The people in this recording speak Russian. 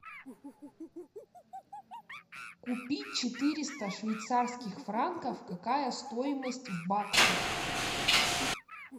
купить четыреста швейцарских франков какая стоимость в баксах